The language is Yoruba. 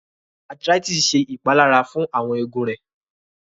Arthritis ṣe ìpalára fun awọn egun rẹ